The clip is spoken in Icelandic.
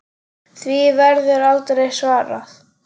Því verður aldrei svarað.